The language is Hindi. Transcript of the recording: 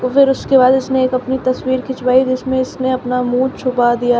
फिर उसके बाद इसने एक अपनी तस्वीर खिंचवाई जिसमें इसने अपना मुंह छुपा दिया--